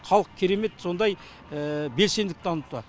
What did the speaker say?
халық керемет сондай белсенділік танытуда